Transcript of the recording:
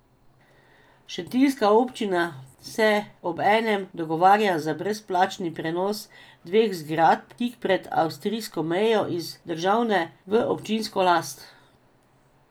Šentiljska občina se obenem dogovarja za brezplačni prenos dveh zgradb tik pred avstrijsko mejo iz državne v občinsko last.